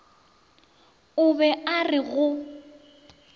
o be a re go